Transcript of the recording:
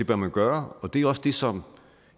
bør man gøre det er også det som